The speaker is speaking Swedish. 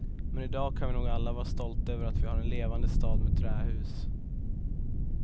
Men idag kan vi nog alla vara stolta över att vi har en levande stad med trähus.